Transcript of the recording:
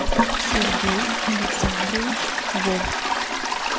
сергей александрович вовк